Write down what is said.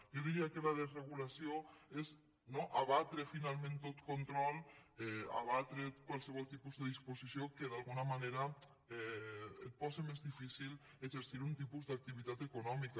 jo diria que la desregulació és abatre finalment tot control abatre qualsevol tipus de disposició que d’alguna manera et posi més difí·cil exercir algun tipus d’activitat econòmica